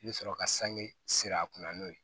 I bɛ sɔrɔ ka sange sir'a kunna n'o ye